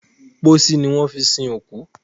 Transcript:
Pósí ni wón fí sin òkú.